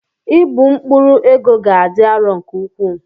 Ịbu mkpụrụ ego ga-adị arọ nke ukwuu.